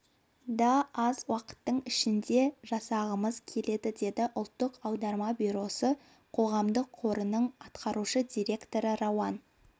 да аз уақыттың ішінде жасағымыз келеді деді ұлттық аударма бюросы қоғамдық қорының атқарушы директоры рауан